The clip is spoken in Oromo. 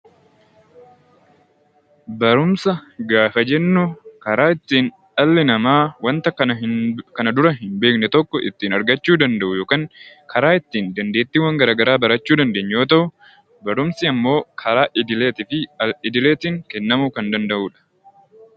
Barumsa gaafa jennu karaa ittiin dhalli namaa wanta kana dura hin beekne tokko ittiin argachuu danda'u yookiin karaa ittiin dandeettii garaagaraa barachuu dandeenyu yoo ta'u, barumsi immoo karaa idilee fi al-idileetiin kennamuu kan danda'udha